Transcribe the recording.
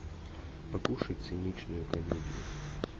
покушай циничную комедию